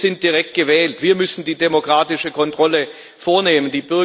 Wir sind direkt gewählt, wir müssen die demokratische Kontrolle vornehmen.